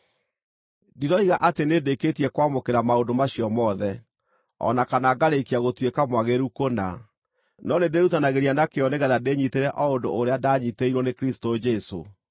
Ndiroiga atĩ nĩndĩkĩtie kwamũkĩra maũndũ macio mothe, o na kana ngarĩkia gũtuĩka mwagĩrĩru kũna, no nĩndĩĩrutanagĩria na kĩyo nĩgeetha ndĩnyiitĩre o ũndũ ũrĩa ndanyiitĩirwo nĩ Kristũ Jesũ.